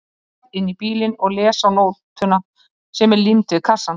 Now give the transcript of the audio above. Snarast inn í bílinn og les á nótuna sem er límd við kassann